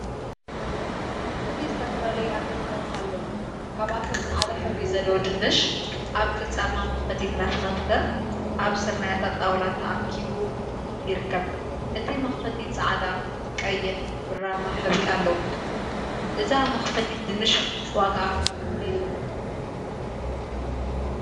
አትክልቲ ዝተፈላለዩ አትክልቲታት አለው፡፡ ካብአቶም ፃዕዳ ሕብሪ ዘለዎ ድንሽ አብ ቅርፃማ መክተፊ እናተከተፈ አብ ስርናየታይ ጣውላ ተአኪቡ ይርከብ፡፡ እቲ መክተፊ ፃዕዳ፣ ቀይሕን ብራማን ሕብሪ አለዎ፡፡ እዛ መክተፊት ድንሽ ዋግአ ክንደይ እዩ?